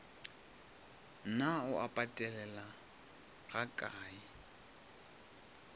na o e patelela gakae